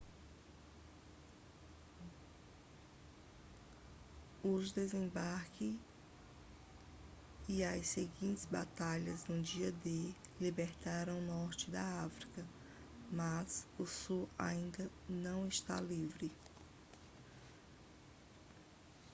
os desembarques e as seguintes batalhas no dia d libertaram o norte da frança mas o sul ainda não estava livre